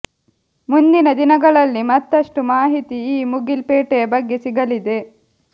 ಮುಂದಿನ ದಿನಗಳಲ್ಲಿ ಮತ್ತಷ್ಟು ಮಾಹಿತಿ ಈ ಮುಗಿಲ್ ಪೇಟೆಯ ಬಗ್ಗೆ ಸಿಗಲಿದೆ